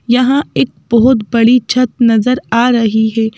यहां एक बहुत बड़ी छत नजर आ रही है।